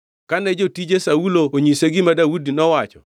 Kane jotije Saulo onyise gima Daudi nowacho,